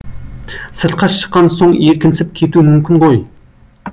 сыртқа шыққан соң еркінсіп кетуі мүмкін ғой